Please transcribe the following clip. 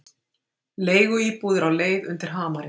Leiguíbúðir á leið undir hamarinn